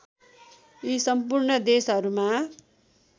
यी सम्पूर्ण देशहरूमा